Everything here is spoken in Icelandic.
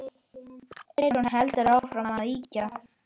Eyrún heldur áfram að yrkja.